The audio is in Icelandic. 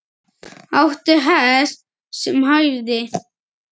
Átti hest sem hæfði.